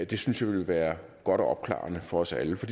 det synes jeg vil være godt og opklarende for os alle for